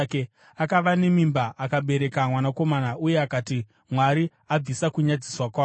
Akava nemimba akabereka mwanakomana uye akati, “Mwari abvisa kunyadziswa kwangu.”